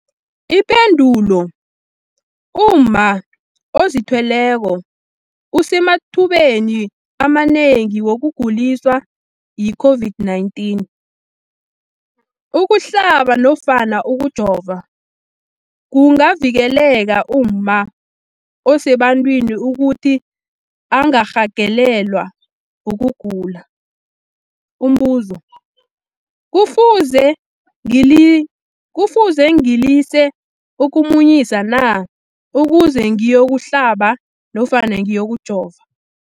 Ipendulo, umma ozithweleko usemathubeni amanengi wokuguliswa yi-COVID-19. Ukuhlaba nofana ukujova kungavikela umma osebantwini ukuthi angarhagalelwa kugula. Umbuzo, kufuze ngilise ukumunyisa na ukuze ngiyokuhlaba nofana ngiyokujova?